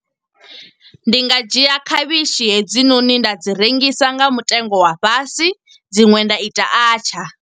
Ndi nga dzhia khavhishi hedzinoni nda dzi rengisa nga mutengo wa fhasi, dziṅwe nda ita atchaar.